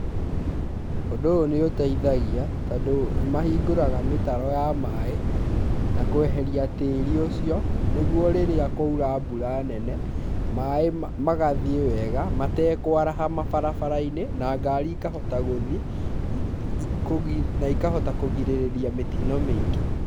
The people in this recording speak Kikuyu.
Ũndũ ũyũ nĩ ũteithagia tondũ nĩ mahingũraga mĩtaro ya maaĩ na kweheria tĩĩri ũcio nĩguo rĩrĩa kwaura mbura nene, maaĩ magathiĩ wega matekũaraha mabarabara-inĩ na ngari ĩkahota gũthiĩ na ikahota kũgirĩrĩria mĩtino mĩingĩ.